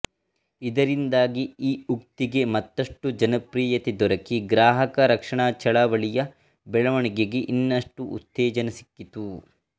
ಇದರಿಂದಾಗಿ ಈ ಉಕ್ತಿಗೆ ಮತ್ತಷ್ಟು ಜನಪ್ರಿಯತೆ ದೊರಕಿ ಗ್ರಾಹಕ ರಕ್ಷಣಾ ಚಳುವಳಿಯ ಬೆಳವಣಿಗೆಗೆ ಇನ್ನಷ್ಟು ಉತ್ತೇಜನ ಸಿಕ್ಕಿತು